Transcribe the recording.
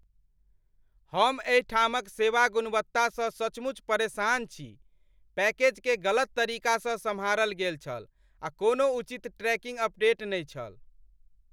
हम एहिठामक सेवा गुणवत्तासँ सचमुच परेशान छी। पैकेजकेँ गलत तरीकासँ सम्हारल गेल छल आ कोनो उचित ट्रैकिंग अपडेट नहि छल!